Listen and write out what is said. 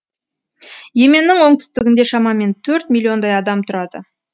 и еменнің оңтүстігінде шамамен төрт миллиондай адам тұрады